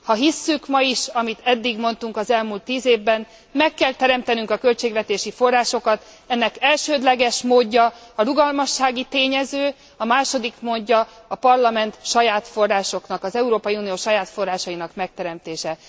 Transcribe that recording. Ha hisszük ma is, amit eddig mondtunk az elmúlt tíz évben, meg kell teremtenünk a költségvetési forrásokat, ennek elsődleges módja a rugalmassági tényező, a második módja a Parlament saját forrásoknak, az Európai Unió saját forrásainak megteremtése.